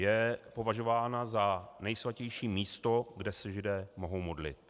Je považována za nejsvatější místo, kde se Židé mohou modlit.